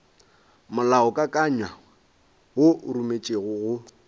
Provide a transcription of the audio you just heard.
molaokakanywa wo o rometšwego go